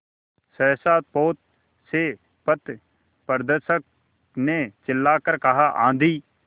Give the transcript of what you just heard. सहसा पोत से पथप्रदर्शक ने चिल्लाकर कहा आँधी